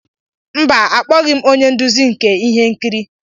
Mba, akpọghị m onye nduzi nke ihe nkiri.